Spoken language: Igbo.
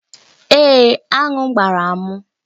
Èé, aṅụ gbara m